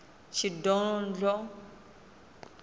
shidondho